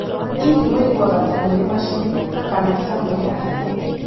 Hihi ũiguaga ta mũrĩ macini kana ta mũrĩ andũ?